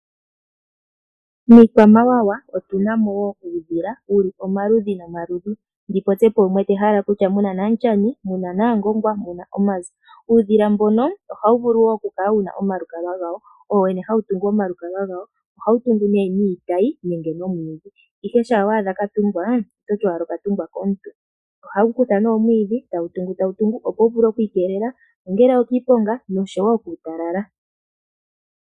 Miikwamawawa otuna mo wo uudhila wuli omaludhi nomaludhi, ndi popye po wumwe te hala kutya muna Namutyani, Naangongwa nOmanzi. Uudhila mbono ohawu vulu oku kala wuna omalukalwa gawo, owo wene hawu tungu omalukalwa gawo, ohawu tungu ne niitayi nenge nomwiidhi, ihe shampa waadha katungwa ototi owala okatungwa komuntu, ohawu kutha nee omwiidhi tawu tungu tawu tungu, opo wu vule kwiikelela ongele okiiponga noshowo kuutalala.